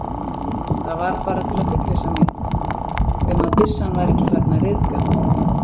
Það var bara til að fullvissa mig um, að byssan væri ekki farin að ryðga